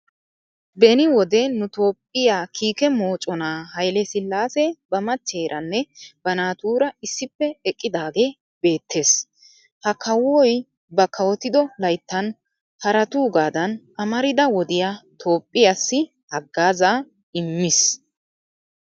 Beni wode nu toophphiya kiike moconaa haile sillaase ba machcheeranne ba naatuura issippe eqqidagee beettes. Ha kawoy ba kawotido layttan haraatuugaadan amarida wodiya toophphiyaassi haggaazaa immis.